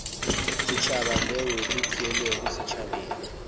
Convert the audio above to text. setšhaba leo le theilwego setšhabeng